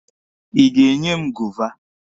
Ị ga-enye m goova?